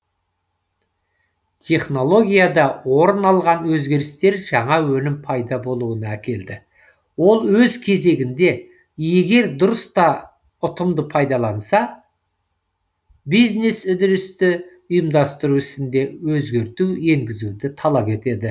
технологияда орын алған өзгерістер жаңа өнім пайда болуына әкелді ол өз кезегінде егер дұрыс та ұтымды пайдаланса бизнес үдерісті ұйымдастыру ісінде өзгерту енгізуді талап етеді